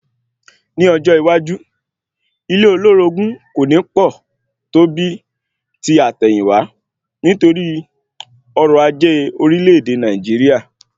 Ní ọjọ́ iwájú, ilé olórogún kò ní pọ̀ tó bíi ti àtẹ̀yìnwá, nítorí ọrọ̀ ajé orílẹ̀ èdè Nàìjíríà